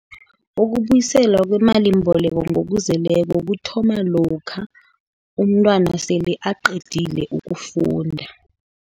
Ukubuyiselwa kwemalimboleko ngokuzeleko, kuthoma lokha umntwana sele aqedile ukufunda.